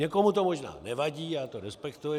Někomu to možná nevadí, já to respektuji.